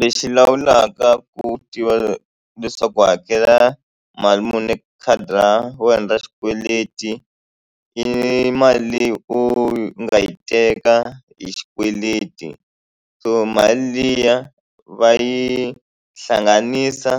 Lexi lawulaka ku tiva leswaku u hakela mali muni eka khadi ra wena ra xikweleti i mali leyi u nga yi teka hi xikweleti so mali liya va yi hlanganisa